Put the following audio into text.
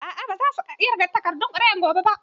A'a ba za su ƙirga takardun ƙuri'ar gobe ba